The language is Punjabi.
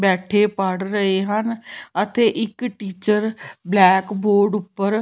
ਬੈਠੇ ਪੜ੍ਹ ਰਹੇ ਹਨ ਅਤੇ ਇੱਕ ਟੀਚਰ ਬਲੈਕ ਬੋਰਡ ਉੱਪਰ --